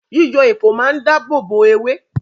Yíyọ èpò máa ń dáàbòbò ewé